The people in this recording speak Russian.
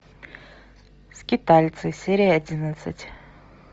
скитальцы серия одиннадцать